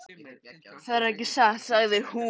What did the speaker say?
Það er ekki satt, sagði hún.